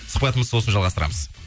сұхбатымызды сосын жалғастырамыз